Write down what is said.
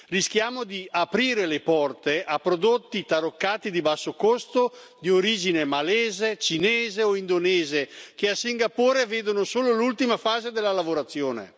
Rischiamo di aprire le porte a prodotti taroccati di basso costo, di origine malese, cinese o indonesiana, che a Singapore vedono solo l'ultima fase della lavorazione.